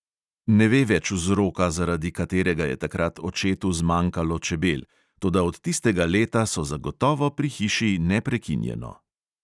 Ne ve več vzroka, zaradi katerega je takrat očetu zmanjkalo čebel, toda od tistega leta so zagotovo pri hiši neprekinjeno.